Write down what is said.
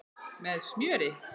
Með smjöri.